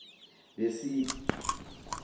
besiki